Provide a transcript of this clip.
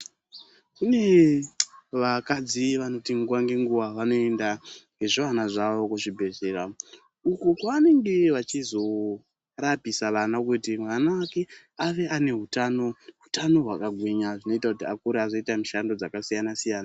Kune vakadzi vanoti nguwa ngenguwa vanoenda nezvivana zvavo kuzvibhedhlera, uko kwavanenge vachizorapisa vana, kuti mwana wake ave ane utano, utano hwakagwinya, zvinoita kuti akura azoite mishando yakasiyana-siyana.